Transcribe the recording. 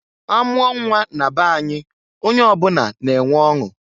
Amụọ nnwa na be any, onye ọ bụna na-enwe ọṅụ.